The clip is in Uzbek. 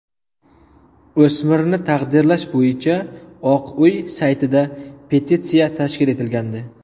O‘smirni taqdirlash bo‘yicha Oq uy saytida petitsiya tashkil etilgandi.